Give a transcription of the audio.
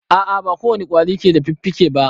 A a ba ko wane ƙwari ke da fiffike ba.